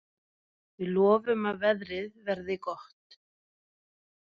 Við lofum að veðrið verði gott.